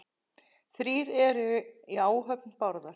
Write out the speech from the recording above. Þrír eru í áhöfn Bárðar.